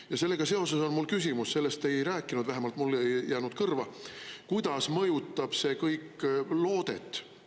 Ja sellega seoses on mul küsimus – sellest sa ei rääkinud, vähemalt mulle ei jäänud kõrva –, kuidas mõjutab see kõik loodet.